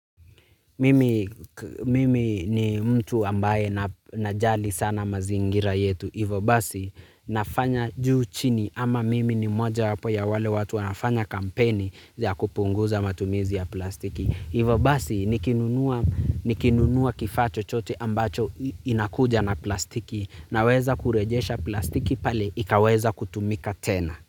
Mimi ni mtu ambaye najali sana mazingira yetu. Hivo basi nafanya juu chini ama mimi ni moja wapo ya wale watu wanafanya kampeni za kupunguza matumizi ya plastiki. Hivo basi nikinunua kifaa chochote ambacho inakuja na plastiki naweza kurejesha plastiki pale ikaweza kutumika tena.